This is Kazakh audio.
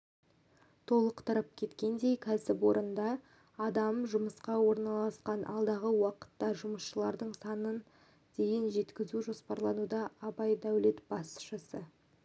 толықтырып кеткендей кәсіпорында адам жұмысқа орналасқан алдағы уақытта жұмысшылардың санын дейін жеткізу жоспарлануда абай даулет басшысы